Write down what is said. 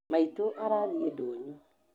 Maitũ arathiĩ ndũnyũ